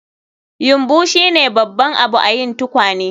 Yumbu shine babban abu a yin tukwane